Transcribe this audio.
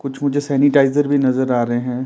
कुछ मुझे सैनिटाइजर भी नजर आ रहे हैं।